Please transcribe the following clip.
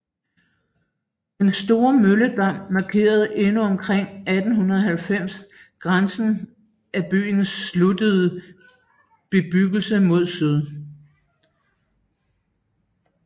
Den store Mølledam markerede endnu omkring 1890 grænsen af byens sluttede bebyggelse mod syd